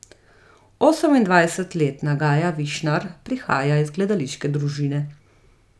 Osemindvajsetletna Gaja Višnar prihaja iz gledališke družine.